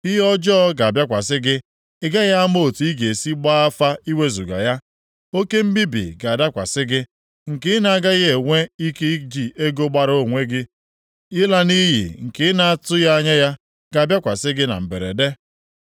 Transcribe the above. Ihe ọjọọ ga-abịakwasị gị, ị gaghị ama otu ị ga-esi gbaa afa iwezuga ya. Oke mbibi ga-adakwasị gị nke ị na-agaghị enwe ike iji ego gbara onwe gị; Ịla nʼiyi nke ị na-atụghị anya ya ga-abịakwasị gị na mberede.